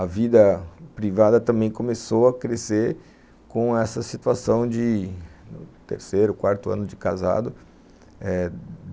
A vida privada também começou a crescer com essa situação de terceiro, quarto ano de casado eh